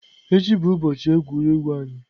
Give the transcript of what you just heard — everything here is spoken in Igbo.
Echi bụ ụbọchị egwuregwu anyị.